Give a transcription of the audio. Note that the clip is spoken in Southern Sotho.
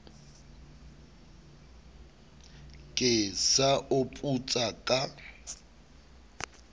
ke sa o putsa ka